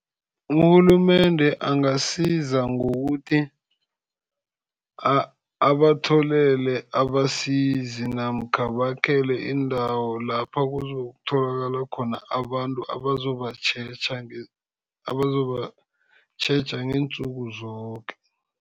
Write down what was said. Urhulumende angasiza ngokuthi abatholele abasizi namkha bakhelwe iindawo lapha kuzokutholakala khona abantu abazobatjheja, abazobatjheja ngeentsuku zoke.